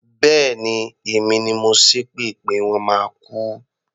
Bẹ́ẹ̀ni, èmi ni mo ṣépè pé wọ́n máa kú.